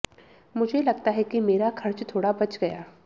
मुझे लगता है कि मेरा खर्च थोड़ा बच गया